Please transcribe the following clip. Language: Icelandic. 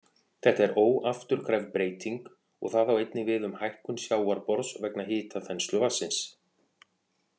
Þetta er óafturkræf breyting og það á einnig við um hækkun sjávarborðs vegna hitaþenslu vatnsins.